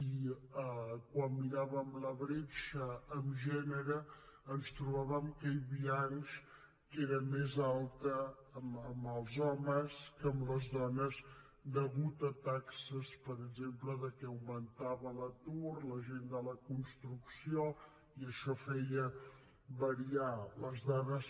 i quan miràvem la bretxa en gènere ens trobàvem que hi havia anys que era més alta en els homes que en les dones degut a taxes per exemple que augmentava l’atur la gent de la construcció i això feia variar les dades